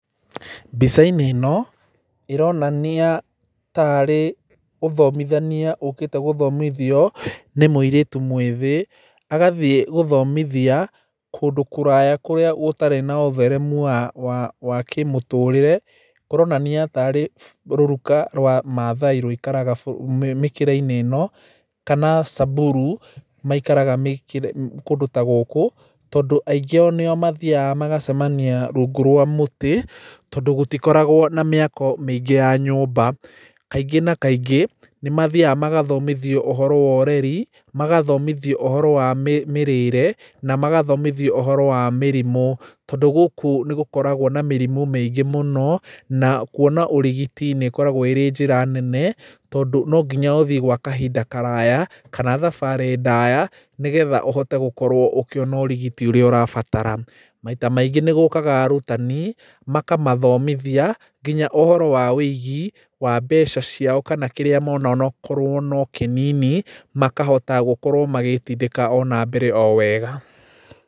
Mbicainĩ ĩno ĩronania tarĩ ũthomithania ũkĩte gũthomithio nĩ mũirĩtu mũĩthĩ agathiĩ gũthomithia kũndũ kũraya kũrĩa gũtarĩ na ũtheremu wa kĩmũtũrĩre ũronania tarĩ rũruka rwa mathaai rũikaraga mĩkĩrainĩ ĩno kana Samburu maikaraga kũndũ ta gũkũ tondũ aingĩ ao nĩo mathiaga magacemania rungu rwa mũtĩ tondũ gũtikoragwo na mĩako mĩingĩ ya nyũmba. Kaingĩ na kaingĩ nĩ mathiaga magathomithio ũhoro wa ũreri magathomithio ũhoro wa mĩrĩre na magathomithio ũhoro wa mĩrimũ tondũ gũkũ nĩ gũkoragwo na mĩrimũ mĩingĩ mũno na kuona ũrigiti nĩ ĩkoragwo ĩrĩ njĩra nene, tondũ no nginya ũthii gwa kahinda karaya kana thabarĩ ndaya nĩgetha ũhote gũkorwo ũkĩona ũrigiti ũrĩa ũrabatara. Maita maingĩ nĩ gũkaga arutani makamathomithia nginya ũhoro wa wũigi wa mbeca ciao kana kĩrĩa mona onokorwo no kĩnini makahota gũkorwo magĩtindĩka ona mbere o wega.